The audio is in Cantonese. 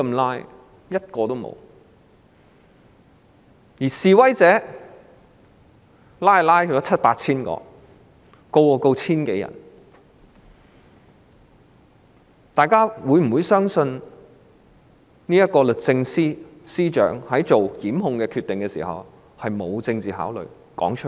然而，七八千名示威者被拘捕 ，1,000 多人被檢控，大家會否相信律政司司長作出檢控決定時，沒有政治考慮？